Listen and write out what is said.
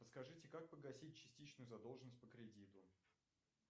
подскажите как погасить частичную задолженность по кредиту